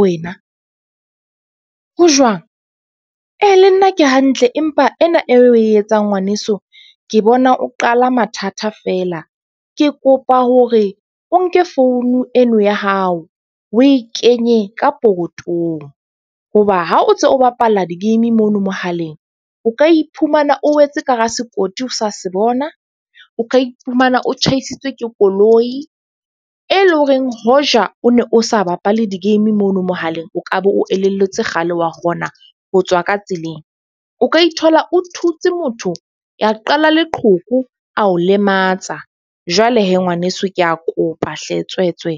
wena ho jwang? Ee le nna ke hantle empa ena e o e etsang ngwaneso ke bona o qala mathata feela. Ke kopa hore o nke founu eno ya hao o e kenye ka pokotong hoba ha o ntse o bapala di-game mono mohaleng, o ka iphumana o wetse ka hara sekoti o sa se bona. O ka iphumana o tjhaisitswe ke koloi, e leng horeng hoja o ne o sa bapale di-game mono mohaleng, o kabe o elellwetse kgale wa kgona ho tswa ka tseleng. O ka ithola, o thutse motho ya qala leqhoko a o lematsa. Jwale ngwaneso ke a kopa hle tswe tswe.